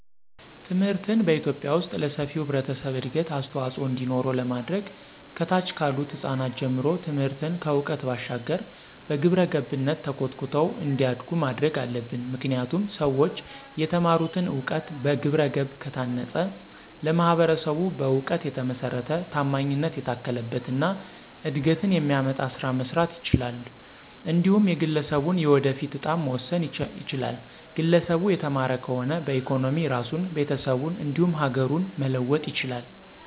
ትምህርትን በኢትዮጲያ ዉስጥ ለሰፊው ህብረተሰብ እድገት አስተዋፅዖ እንዲኖረው ለማድረግ ከታች ካሉት ህጻናት ጀምሮ ትምህርትን ከዕውቀት ባሻገር በግብረገብነት ተኮትኩተው እንዲያዱ ማድረግ አለብን። ምክንያቱም ሠዎች የተማሩትን እውቀት በግብረገብ ከታነፀ ለማህበረሰቡ በእውቀት የተመሰረተ፣ ታማኝነት የታከለበት እና እድገትን የሚያመጣ ስራ መስራት ይችላል። እንዲሁም የግለሠቡን የወደፊት እጣም መወሰን ይችላል፤ ግለሰቡ የተማረ ከሆነ በኢኮኖሚ ራሱን፣ ቤተሰቡን እንዲሁም ሀገሩን መለወጥ ይችላል።